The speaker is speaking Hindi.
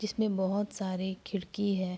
जिसमें बोहोत सारे खिड़की है।